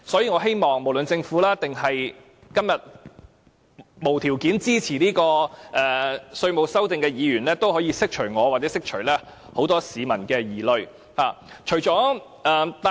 我希望政府或在今天無條件支持這項《條例草案》的議員，可以釋除我或很多市民的疑慮。